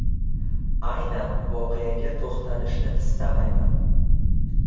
Aynan voqeaga to‘xtalishni istamayman.